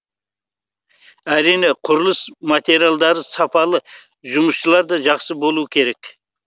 әрине құрылыс материалдары сапалы жұмысшылар да жақсы болу керек